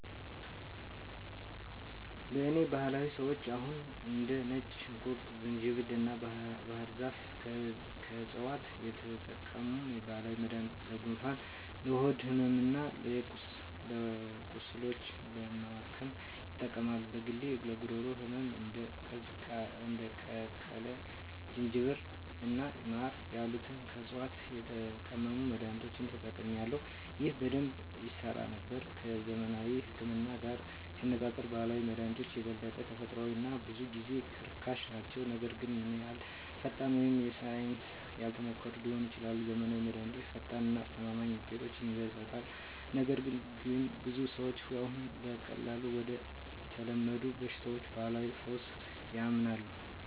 በእኔ ባህል ሰዎች አሁንም እንደ ነጭ ሽንኩርት፣ ዝንጅብል እና ባህር ዛፍ ከዕፅዋት የተቀመሙ ባህላዊ መድኃኒቶችን ለጉንፋን፣ ለሆድ ሕመም እና ቁስሎች ለማከም ይጠቀማሉ። በግሌ ለጉሮሮ ህመም እንደ የተቀቀለ ዝንጅብል እና ማር ያሉትን ከዕፅዋት የተቀመሙ መድኃኒቶችን ተጠቅሜአለሁ፣ ይህም በደንብ ይሠራ ነበር። ከዘመናዊው ህክምና ጋር ሲነፃፀሩ ባህላዊ መድሃኒቶች የበለጠ ተፈጥሯዊ እና ብዙ ጊዜ ርካሽ ናቸው, ነገር ግን ያን ያህል ፈጣን ወይም በሳይንስ ያልተሞከሩ ሊሆኑ ይችላሉ. ዘመናዊው መድሃኒት ፈጣን እና አስተማማኝ ውጤቶችን ይሰጣል, ነገር ግን ብዙ ሰዎች አሁንም ለቀላል ወይም ለተለመዱ በሽታዎች ባህላዊ ፈውስ ያምናሉ.